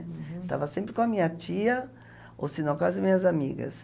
Uhum. Estava sempre com a minha tia, ou se não, com as minhas amigas.